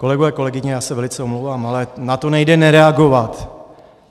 Kolegyně, kolegové, já se velice omlouvám, ale na to nejde nereagovat.